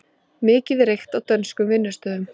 Mikið reykt á dönskum vinnustöðum